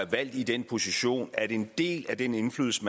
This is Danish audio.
valgt i den position at en del af den indflydelse